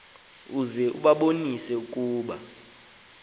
uze ubabonise ukuba